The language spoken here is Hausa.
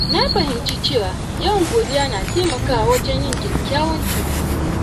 Na fahimci cewa yawan godiya na taimakawa wajen yin kyakkyawan tunani.